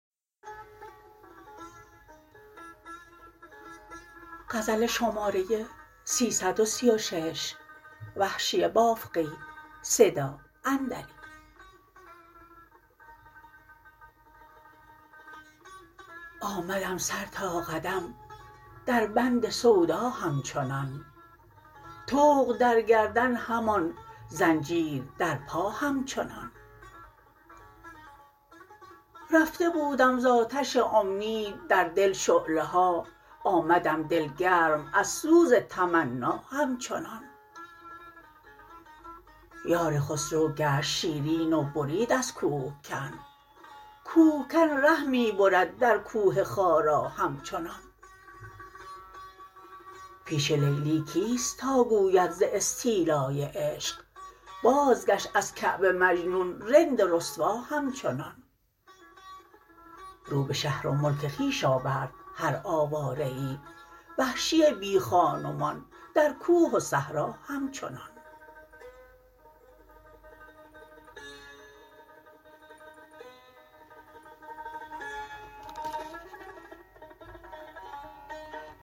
آمدم سر تا قدم در بند سودا همچنان طوق در گردن همان زنجیر در پا همچنان رفته بودم ز آتش امید در دل شعله ها آمدم دل گرم از سوز تمنا همچنان یار خسرو گشت شیرین و برید از کوهکن کوهکن ره می برد در کوه خارا همچنان پیش لیلی کیست تاگوید ز استیلای عشق بازگشت از کعبه مجنون رند و رسوا همچنان رو به شهر و ملک خویش آورد هر آواره ای وحشی بی خان و مان در کوه و صحرا همچنان